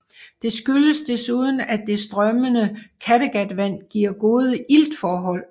Det skyldes desuden at det strømmende Kattegatvand giver gode iltforhold